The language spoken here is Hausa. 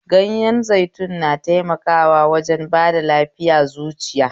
Ganyen zaitun na taimakawa wajen ba da lafiya zuciya